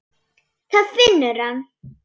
Það finnur hann.